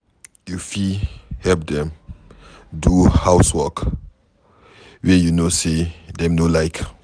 You fit help them do house wrok wey you know sey dem no like